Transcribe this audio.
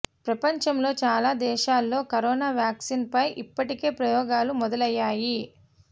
ప్రపంచంలో చాలా దేశాల్లో కరోనా వ్యాక్సిన్ పై ఇప్పటికే ప్రయోగాలు మొదలయ్యాయి